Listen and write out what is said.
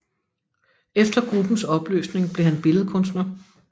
Efter gruppens opløsning blev han billedkunstner